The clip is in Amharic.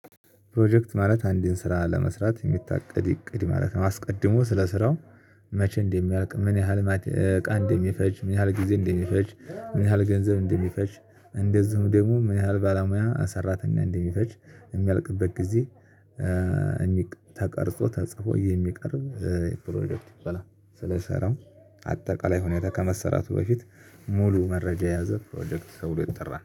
ፕሮጀክት ማለት አንዴድን ስራ ለመስራት የሚታቀድ እቅድ ማለት ነው። አስቀድሞ ስለ ስራው መቼ እንደሚያልቅ ምን ያህል እቃ እንደሚፈጅ ምን ያህል ጊዜ እንደሚፈጅ ምን ያህል ገንዘብ እንደሚፈጅ እንደዚሁም ደግሞ ምን ያህል ባለሙያ ሰራተኛ እንደሚፈጅ የሚያልቅበት ጊዜ። የሚቀ ተቀርጾ ተጽፎ የሚቀርብ ፕሮጀክት ይባላል። ስለሰራው አጠቃላይ ሁኔታ ከመሰራቱ በፊት ሙሉ መረጃ የያዘ ፕሮጀክት ተብሎ ይጠራል